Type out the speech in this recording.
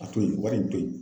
A to yen wari in to yen.